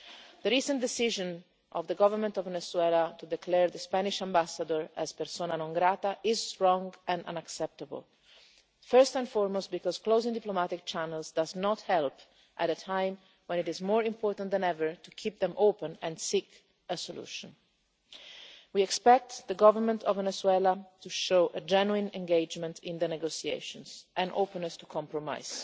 The recent decision of the Government of Venezuela to declare the Spanish Ambassador persona non grata is wrong and unacceptable, first and foremost because closing diplomatic channels does not help at a time when it is more important than ever to keep them open and seek a solution. We expect the Government of Venezuela to show genuine engagement in the negotiations and openness to compromise.